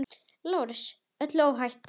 LÁRUS: Öllu óhætt!